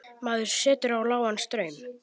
Maður setur á lágan straum.